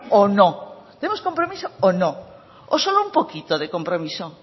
o no tenemos compromiso o no o solo un poquito de compromiso